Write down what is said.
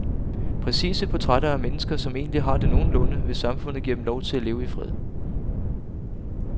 Præcise portrætter af mennesker, som egentlig har det nogenlunde, hvis samfundet giver dem lov til at leve i fred.